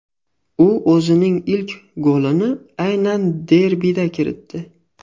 U o‘zining ilk golini aynan derbida kiritdi.